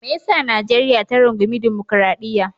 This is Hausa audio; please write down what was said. Me ya sa Najeriya ta rungumi dimokradiyya?